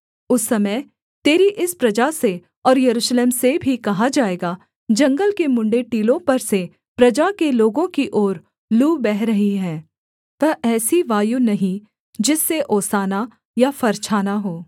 उस समय तेरी इस प्रजा से और यरूशलेम से भी कहा जाएगा जंगल के मुँण्ड़े टीलों पर से प्रजा के लोगों की ओर लू बह रही है वह ऐसी वायु नहीं जिससे ओसाना या फरछाना हो